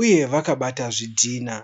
uye vakabata zvidhinha.